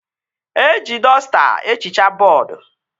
Eji dọsta ehichaa bọọdu